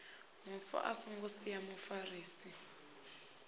mufu a songo sia mufarisi